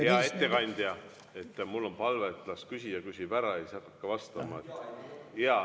Hea ettekandja, mul on palve, et las küsija küsib ära, siis hakake vastama.